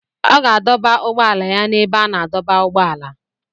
Ọ ga-adọba ụgbọala ya na ebe a na-adọba ụgbọala